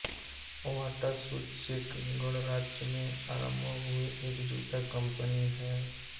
बाटा shoes चेक गणराज्य में आरंभ हुई एक जूता कंपनी है